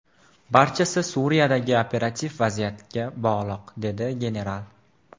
Barchasi Suriyadagi operativ vaziyatga bog‘liq”, dedi general.